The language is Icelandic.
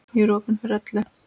Ég er opin fyrir öllu.